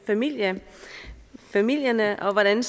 familierne familierne og hvordan